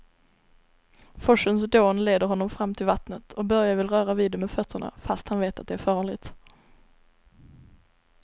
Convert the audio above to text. Forsens dån leder honom fram till vattnet och Börje vill röra vid det med fötterna, fast han vet att det är farligt.